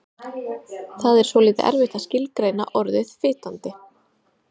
Það er svolítið erfitt að skilgreina orðið fitandi.